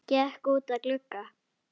Gekk út að glugga.